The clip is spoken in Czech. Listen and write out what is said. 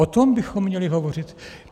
O tom bychom měli hovořit.